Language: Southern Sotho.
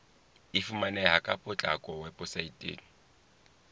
e fumaneha ka potlako weposaeteng